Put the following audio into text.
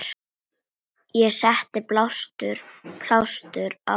Ég setti blástur á fötin.